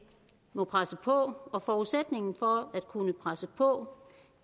må presse på og forudsætningen for at kunne presse på